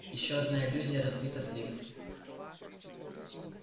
ещё одна иллюзия разбита вдребезги